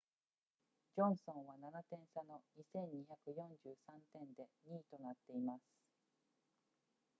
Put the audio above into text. ジョンソンは7点差の 2,243 点で2位となっています